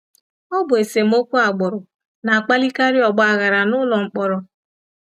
Ọ bụ esemokwu agbụrụ na-akpalikarị ọgbaghara n’ụlọ mkpọrọ.